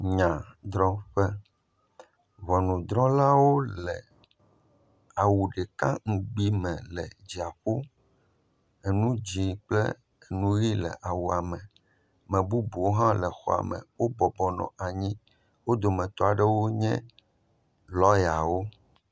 Nya drɔ ƒe. Ŋɔnudrɔlawo le awu ɖeka ŋugbi me le dziaƒo, eŋu dzĩ kple eŋu ʋi le awua me. Ame bubuwo hã nɔ xɔme. Wobɔbɔ nɔ anyi. Wo dometɔ aɖewo nye lɔyawo.